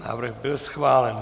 Návrh byl schválen.